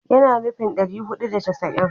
Yana nufin ɗari hudu da casa'in